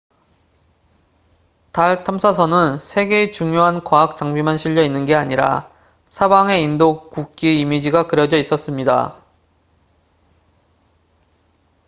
달 탐사선은 세 개의 중요한 과학 장비만 실려 있는 게 아니라 사방에 인도 국기의 이미지가 그려져 있었습니다